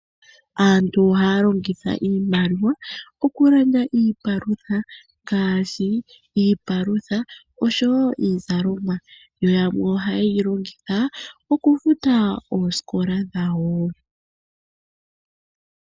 Aantu ohaya longitha iimaliwa okulanda iipalutha ngaashi iipalutha osho wo iizalomwa. Yo yamwe ohaye yi longitha okufuta oosikola dhawo.